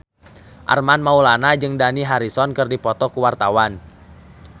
Armand Maulana jeung Dani Harrison keur dipoto ku wartawan